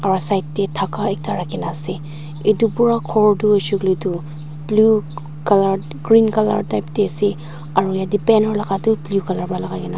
aro side tey dhaka ekta rakhina ase itu pura ghor tu huishe kuile tu blue color green color type te ase aru yatey banner laga tu blue color wa lagaigena ase.